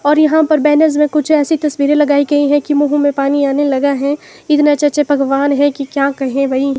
और यहां पर बैनर्स में कुछ ऐैसी तस्वीरें लगाई गयी हैं की मुंह में पानी आने लगा है इतने अच्छे अच्छे पकवान है की क्या कहें भाई।